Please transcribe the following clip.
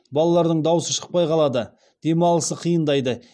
балалардың даусы шықпай қалады демалысы қиындайды